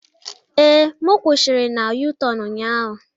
Ee, m kwushiri na U-tornu ụnyaahụ.